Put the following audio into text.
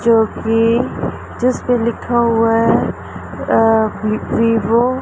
जोकि जिसपे लिखा हुआ है अ विवो --